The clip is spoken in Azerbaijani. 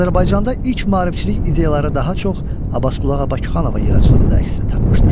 Azərbaycanda ilk maarifçilik ideyaları daha çox Abbasqulu ağa Bakıxanovun yaradıcılığında əksini tapmışdır.